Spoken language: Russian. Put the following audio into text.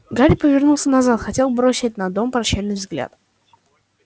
гарри повернулся назад хотел бросить на дом прощальный взгляд